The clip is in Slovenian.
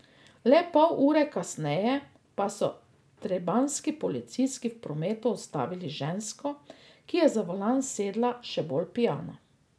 Le pol ure kasneje pa so trebanjski policisti v prometu ustavili žensko, ki je za volan sedla še bolj pijana.